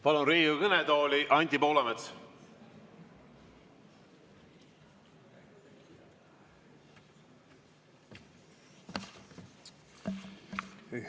Palun Riigikogu kõnetooli, Anti Poolamets!